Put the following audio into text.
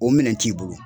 O minɛn t'i bolo